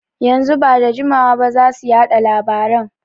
Yanzu ba jima zasu yaɗa labaran